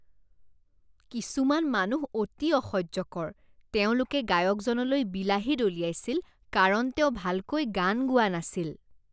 কিছুমান মানুহ অতি অসহ্যকৰ। তেওঁলোকে গায়কজনলৈ বিলাহী দলিয়াইছিল কাৰণ তেওঁ ভালকৈ গান গোৱা নাছিল।